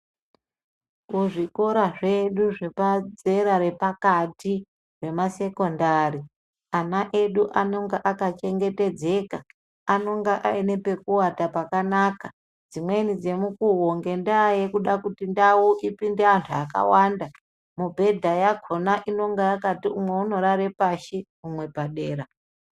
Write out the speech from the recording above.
Kuzvikora zvedu zvepadzera repakati remasekondari ana edu anenge akachengetedzaka, anonga aine pekuwata pakanaka dzimwei dzemukuwo ngendaa yekuda kuti ndau ipinde antu akawanda mubhedha yakhona inonga yakati umwe unorare pashi umwe padera.